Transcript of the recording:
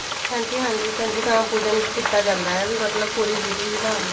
ਹਾਂਜੀ ਹਾਂਜੀ ਕੰਜਕਾਂ ਪੂਜਨ ਕੀਤਾ ਜਾਂਦਾ ਹੈ ਵੀ ਮਤਲਬ ਪੂਰੀ ਵਿਧੀ ਵਿਧਾਨ ਨਾਲ